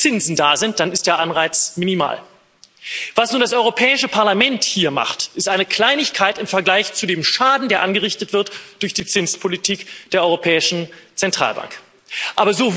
Aber wenn keine Zinsen da sind, dann ist der Anreiz minimal. Was nun das Europäische Parlament hier macht, ist eine Kleinigkeit im Vergleich zu dem Schaden, der durch die Zinspolitik der Europäischen Zentralbank angerichtet wird.